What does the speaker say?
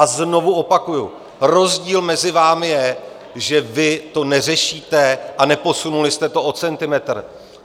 A znovu opakuji, rozdíl mezi námi je, že vy to neřešíte a neposunuli jste to o centimetr.